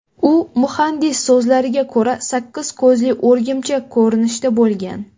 U, muhandis so‘zlariga ko‘ra, sakkiz ko‘zli o‘rgimchak ko‘rinishda bo‘lgan.